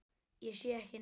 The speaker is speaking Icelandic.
Ég sé ekki neitt.